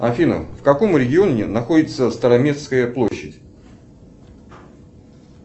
афина в каком регионе находится староместская площадь